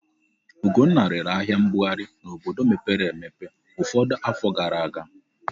Ugonna rere ahịa mbughari n'obodo mepere emepe ụfọdụ afọ gara aga.